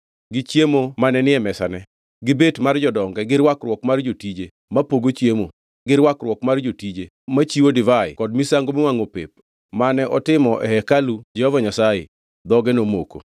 gi chiemo mane ni e mesane, gi bet mar jodonge, gi rwakruok mar jotije mapogo chiemo, gi rwakruok mar jotije machiwo divai kod misango miwangʼo pep mane otimo e hekalu Jehova Nyasaye, dhoge nomoko.